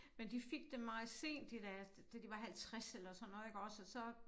Men de fik dem meget sent de der da de var 50 eller sådan noget iggås og så